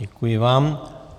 Děkuji vám.